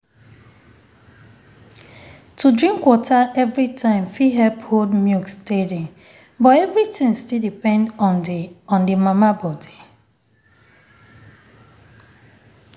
to drink water every time fit help hold milk steady but everything still depend on the on the mama body.